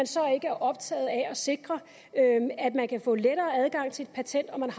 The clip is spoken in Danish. så ikke er optaget af at sikre at de kan få lettere adgang til et patent og